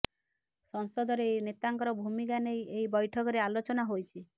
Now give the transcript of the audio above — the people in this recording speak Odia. ସଂସଦରେ ଏହି ନେତାଙ୍କର ଭୂମିକା ନେଇ ଏହି ବୈଠକରେ ଆଲୋଚନା ହୋଇଛି